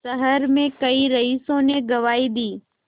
शहर में कई रईसों ने गवाही दी